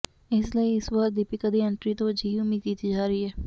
ਇਸਲਈ ਇਸ ਵਾਰ ਦੀਪਿਕਾ ਦੀ ਐਂਟਰੀ ਤੋਂ ਅਜਿਹੀ ਉਮੀਦ ਕੀਤੀ ਜਾ ਰਹੀ ਹੈ